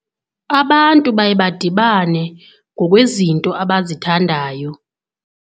Abantu baye badibane ngokwezinto abazithandayo.